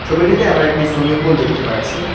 ছবিটিতে আমরা একটি সুইমিং কুল দেখতে পাচ্ছি।